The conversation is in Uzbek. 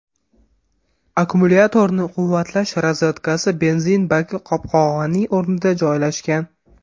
Akkumulyatorni quvvatlash rozetkasi benzin baki qopqog‘ining o‘rnida joylashgan.